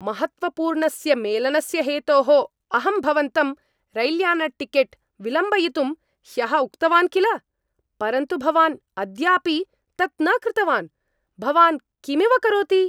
महत्त्वपूर्णस्य मेलनस्य हेतोः अहं भवन्तं रैल्यानटिकेट् विलम्बयितुं ह्यः उक्तवान् किल, परन्तु भवान् अद्यापि तत् न कृतवान्, भवान् किमिव करोति?